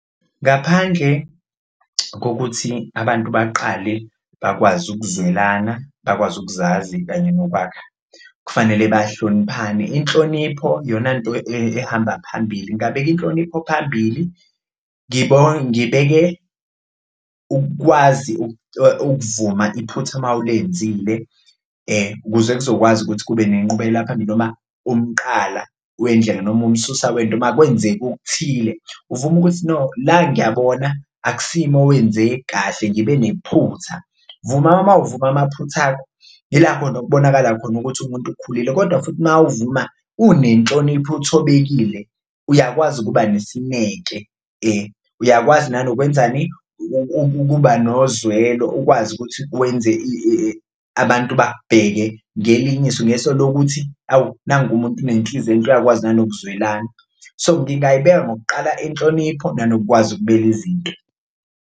Ngaphandle kokuthi abantu baqale bakwazi ukuzwelana bakwazi ukuzazi kanye nokwakha, kufanele bahloniphane inhlonipho iyona nto ehamba phambili, ngabeka inhlonipho phambili, ngibeke ukwazi ukuvuma iphutha uma ulenzile kuze kuzokwazi ukuthi kube nenqubekela phambi noma umqala wendlela noma umsusa wento uma kwenzeka okuthile. Uvuma ukuthi no la ngiyabona akusimi owenze kahle ngibe nephutha, vuma mawuvuma amaphutha akho, ila khona okubonakala khona ukuthi umuntu ukhulile kodwa futhi uma uvuma unenhlonipho uthobekile uyakwazi ukuba nesineke uyakwazi nokwenzani ukuba nozwelo. Ukwazi ukuthi wenze abantu bakubheke ngelinye iso ngeso lokuthi, awu nangu umuntu unenhliziyo enhle uyakwazi nanokuzwelana so ngingayibeka ngokuqala inhlonipho, nanokwazi ukubeka izinto.